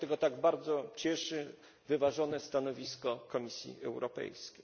Dlatego tak bardzo cieszy wyważone stanowisko Komisji Europejskiej.